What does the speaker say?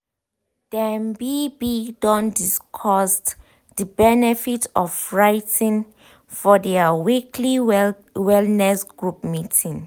dem be be don discussed de benefit of writing for their weekly wellness group meeting.